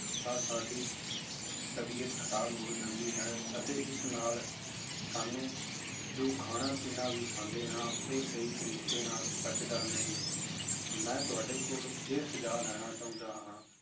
ਤਾਂ ਸਾਡੀ ਤਬੀਅਤ ਖ਼ਰਾਬ ਹੋ ਜਾਂਦੀ ਹੈ ਅਤੇ ਇਸ ਨਾਲ ਸਾਨੂੰ ਜੋ ਖਾਣਾ ਪੀਣਾ ਵੀ ਖਾਂਦੇ ਹਾਂ ਉਹ ਸਹੀ ਤਰੀਕੇ ਨਾਲ ਪੱਚਦਾ ਨਹੀਂ, ਮੈਂ ਤੁਹਾਡੇ ਕੋਲ ਇਹ ਸੁਝਾਅ ਲੈਣਾ ਚਾਹੁੰਦਾ ਹਾਂ